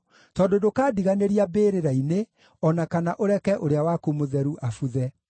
tondũ ndũkandiganĩria mbĩrĩra-inĩ, o na kana ũreke Ũrĩa-waku-Mũtheru abuthe.